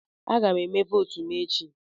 Aga m eme votu m echi.